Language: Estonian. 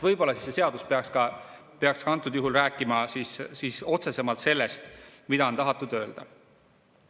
Võib-olla see seadus peaks ka antud juhul rääkima otsesemalt sellest, mida on tahetud öelda.